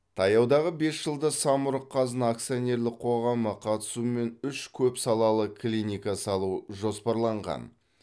таяудағы бес жылда самұрық қазына акционерлік қоғамы қатысуымен үш көпсалалы клиника салу жоспарланған